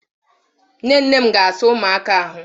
Nne nne m ga-asa ụmụaka ahụ.